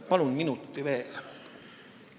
Palun minuti veel!